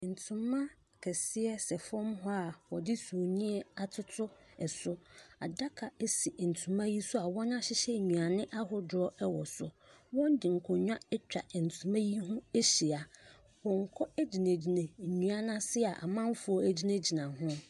Ntoma kɛseɛ sɛ fam hɔ a wɔde sumiiɛ atoto so. Adaka si ntoma yi so a wɔahyehyɛ nnuane ahodoɔ wɔ so. Wɔde nkonnwa atwa ntoma yi ho ahyia. Pɔnkɔ gyingyina nnua no ase a amanfoɔ gyinagyina ho.